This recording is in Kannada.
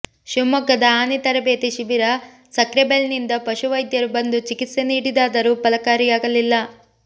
ಶಿವಮೊಗ್ಗದ ಆನೆ ತರಬೇತಿ ಶಿಬಿರ ಸಕ್ರೆಬೈಲ್ನಿಂದ ಪಶು ವೈದ್ಯರು ಬಂದು ಚಿಕಿತ್ಸೆ ನೀಡಿದರಾದರೂ ಫಲಕಾರಿಯಾಗಲಿಲ್ಲ